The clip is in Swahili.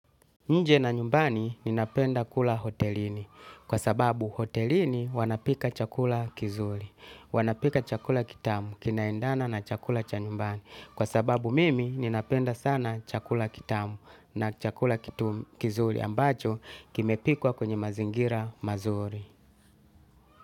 Nje na nyumbani ninapenda kula hotelini. Kwa sababu hotelini wanapika chakula kizuri. Wanapika chakula kitamu kinaendana na chakula cha nyumbani. Kwa sababu mimi ninapenda sana chakula kitamu na chakula kizuri ambacho kimepikwa kwenye mazingira mazuri.